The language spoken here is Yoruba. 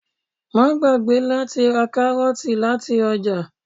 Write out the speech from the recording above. Má gbàgbé láti ra Kárọ́ọ̀tì láti ọjà.